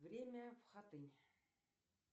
время в хатынь